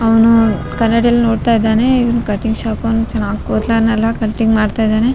ಅವ್ನು ಕನ್ನಡಿಯಲ್ ನೋಡ್ತಾ ಇದ್ದಾನೆ ಇವ್ನ್ ಕಟಿಂಗ್ ಶಾಪ್ ಅವ್ನ್ ಚೆನ್ನಾಗ್ ಕೂದ್ಲನ್ನೆಲ್ಲಾ ಕಟಿಂಗ್ ಮಾಡ್ತಾ ಇದ್ದಾನೆ.